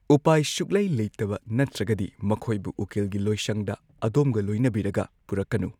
ꯎꯄꯥꯏ ꯁꯨꯛꯂꯩ ꯂꯩꯇꯕ ꯅꯠꯇ꯭ꯔꯒꯗꯤ ꯃꯈꯣꯏꯕꯨ ꯎꯀꯤꯜꯒꯤ ꯂꯣꯢꯁꯪꯗ ꯑꯗꯣꯝꯒ ꯂꯣꯏꯅꯕꯤꯔꯒ ꯄꯨꯔꯛꯀꯅꯨ꯫